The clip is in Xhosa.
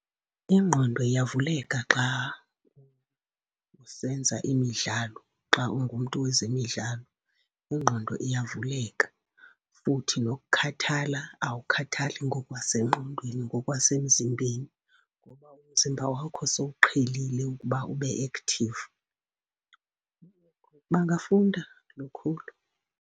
Ingqondo iyavuleka xa usenza imidlalo, xa ungumntu wezemidlalo ingqondo iyavuleka. Futhi nokukhathala, awukhathali ngokwasengqondweni, ngokwasemzimbeni, ngoba umzimba wakho sowuqhelile ukuba ube active. Bangafunda lukhulu.